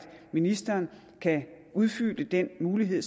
ministeren kan udfylde den mulighed